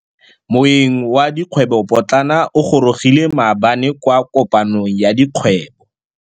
Moêng wa dikgwêbô pôtlana o gorogile maabane kwa kopanong ya dikgwêbô.